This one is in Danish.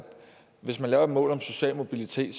hvis man laver et mål om social mobilitet